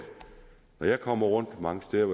når jeg kommer rundt mange steder